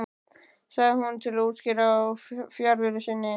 sagði hann til útskýringar á fjarveru sinni.